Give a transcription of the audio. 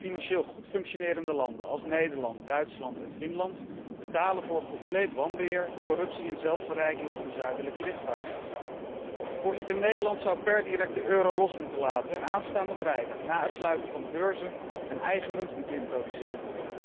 Financieel goed functionerende landen, zoals Nederland, Duitsland en Finland, betalen voor compleet wanbeheer, corruptie en zelfverrijking van de zuidelijke lidstaten. Voorzitter, Nederland zou per direct de euro los moeten laten en aanstaande vrijdag na het sluiten van de beurzen een eigen munt moeten introduceren.